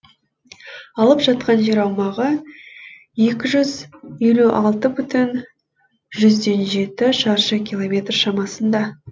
алып жатқан жер аумағы екі жүз елу алты бүтін жүзден жеті шаршы километр шамасында